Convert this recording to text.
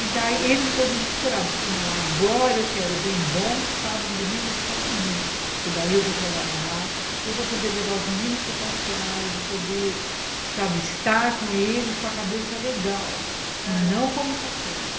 E daí ele ficou desesperado, eu falei, não, agora eu quero o bem bom sábado e domingo para mim, eu falei, porque daí eu vou trabalhar, eu vou poder levar os meninos para passear, eu vou poder, sabe, estar com eles com a cabeça legal, ãh, e não como está sendo.